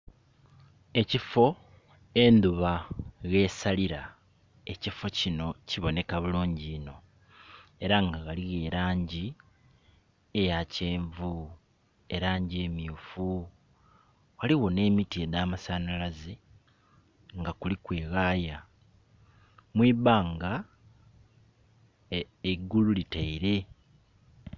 Ekifoo endhuba ghesalila ekifoo kino kiboneka bulungi iino era nga ghaligho elangi eya kyenvu, erangi emyufu, ghaligho ne miti edha masanhalaze nga kuliku eghaaya. Mwibanga eigulu liteire.